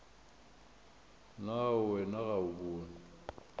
na wena ga o bone